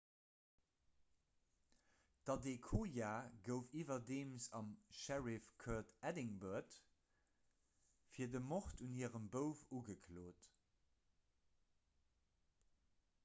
d'adekoya gouf iwwerdeems am sheriff court edinburgh fir de mord un hirem bouf ugeklot